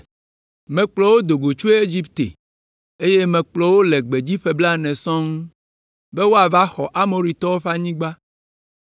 Mekplɔ wò do goe tso Egipte, eye mekplɔ wò le gbedzi ƒe blaene sɔŋ, be woava xɔ Amoritɔwo ƒe anyigba.